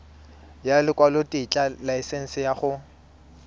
ya lekwalotetla laesense ya go